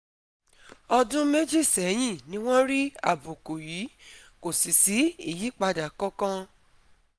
ọdún méjì sẹ́yìn ni wọ́n rí àbùkù yìí, kò sì sí ìyípadà kankan